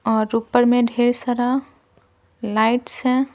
और ऊपर में ढेर सारा लाइट्स हैं।